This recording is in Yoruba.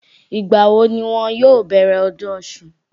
Ìgbà wo ni wọn yóò bẹ̀rẹ̀ ọdún Ọ̀ṣun?